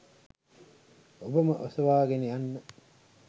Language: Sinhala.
ඔබම ඔසවාගෙන යන්න!